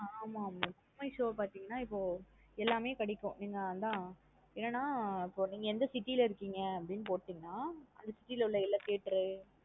ஆஹ் ஆமா மா book my show பாத்தீங்கான இப்போ எல்லாமே கிடைக்கும். என்ன அதான் என்ன நா ஆ இப்போ நீங்க எந்த city லா இருக்கீங்க னு அப்டி போடீங்கான அந்த city ல உள்ள எல்லா theatre உ